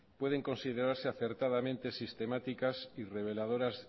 pueden considerarse acertadamente sistemáticas y relevadotas